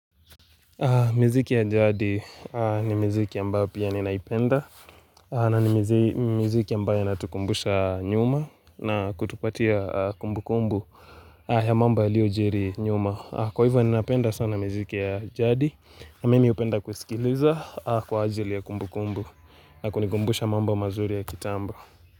Miziki ya jadi ni mziki ambaye pia ninaipenda na ni miziki ambaye inatukumbusha nyuma na kutupatia kumbu kumbu ya mambo yaliojiri nyuma Kwa hivyo ninapenda sana miziki ya jadi na mimi hupenda kusikiliza kwa ajili ya kumbu kumbu na kunikumbusha mambo mazuri ya kitambo.